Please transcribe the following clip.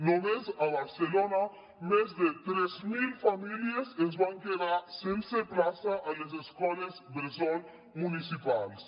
només a barcelona més de tres mil famílies es van quedar sense plaça a les escoles bressol municipals